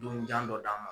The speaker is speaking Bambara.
Dunjan dɔ d'an ma